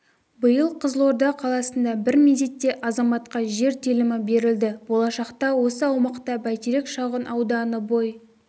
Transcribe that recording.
биыл қызылорда қаласында бір мезетте азаматқа жер телімі берілді болашақта осы аумақта бәйтерек шағын ауданы бой